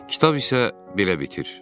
Kitab isə belə bitir.